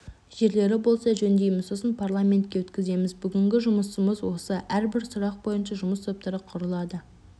жерлері болса жөндейміз сосын парламентке өткіземіз бүгінгі жұмысымыз осы әрбір сұрақ бойынша жұмыс топтары құрылады